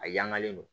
A yangalen don